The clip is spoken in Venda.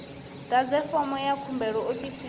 ḓadze fomo ya khumbelo ofisini